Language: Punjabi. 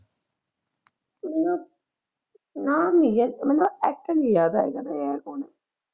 ਊਂ ਨਾ, ਨਾਮ ਨਈਂ ਲਿਆ ਮਤਲਬ ਅੱਛਾ ਨਈਂ ਲੱਗਦਾ ਐ .